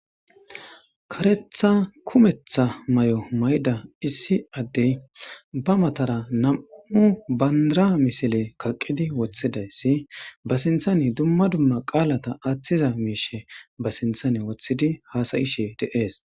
karetha kumetha may7o mayda issi addey ba matara nam7u banra misile kaqqidi woththidayssi ba sinthane dumma dumma qaalata aaththiza miishe ba sinthane woththidi haasayishe deees